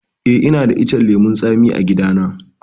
Eh, ina da icen lemun tsami a gida na.